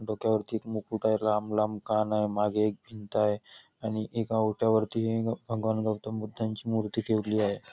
डोक्यावरती एक मुकुट आहे लांब लांब कान आहे मागे एक भिंत आहे आणि एका ओट्यावरती भगवान गौतम बुद्धांची मूर्ती ठेवली आहे.